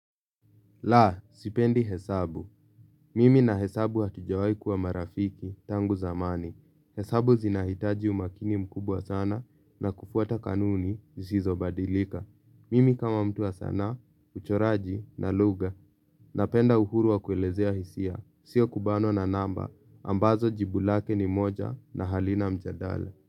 La, sipendi hesabu. Mimi na hesabu hatujawai kuwa marafiki tangu zamani. Hesabu zinahitaji umakini mkubwa sana na kufuata kanuni zisizobadilika. Mimi kama mtuu wa sanaa, uchoraji na lugha napenda uhuru wa kuelezea hisia. Sio kubanwa na namba ambazo jibu lake ni moja na halina mjadala.